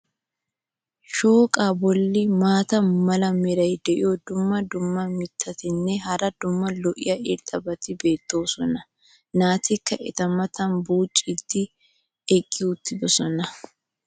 shooqaa boli maata mala meray diyo dumma dumma mitatinne hara daro lo'iya irxxabati beetoosona. naatikka eta matan buucciidi eqqi uttidosona.